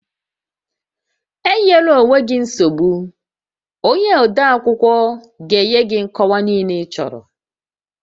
E nyela onwe gị nsogbu, onye odeakwụkwọ ga-enye gị nkọwa niile ịchọrọ